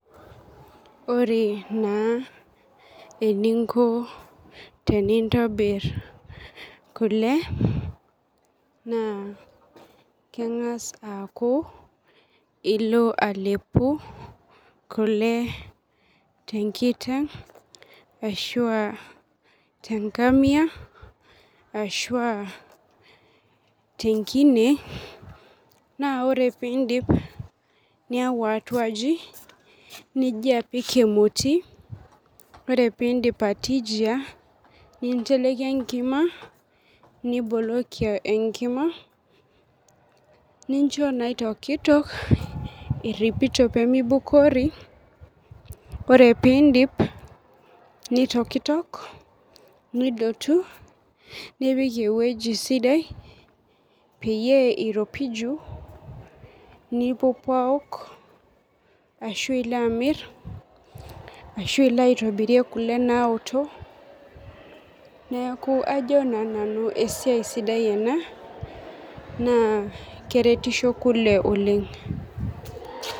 Ore na eninko tenintobir kule na kengas aaku ilo alepu kule tenkiteng ashu a tenkamia ashu a tenkine na ore piindip niyau atua aji nijia apik emoti ore pindio atijia ninteleki enkima niboloki enkima nincho na itokitok iripito pemeibukori ore peidip nitokitok nidotu nipik ewueji sidai peyie iropiju nipuopuo aok ashu ilo amir ashu ilo aitobirie kule naoto neaku kajo nanu esiai ena na kerertisho kule oleng.